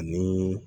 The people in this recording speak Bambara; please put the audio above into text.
Ni